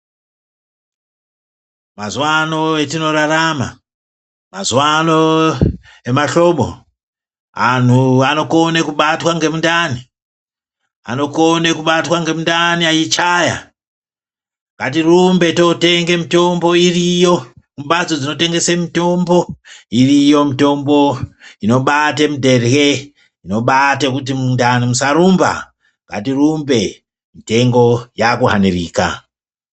Mazuwa ano etinorarama, mazuwa ano emahlobo antu anokona kubatwa ngemundani. Anokona kubatwa ngemundani eichaya. .gatirumbe tootenga mitombo iriyo mimhatso dzinotengesa mitombo. Iriyo mitombo inobati dherye, inobati mundani musarumba. Ngatirumba mitengo yakuhanirika.